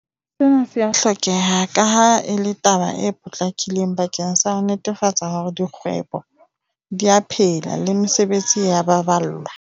Sena se a hlokeha kaha e le taba e potlakileng bakeng sa ho netefatsa hore dikgwebo di a phela le mesebetsi e a baballwa.